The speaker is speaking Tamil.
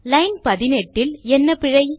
லைன் 18 இல் என்ன பிழை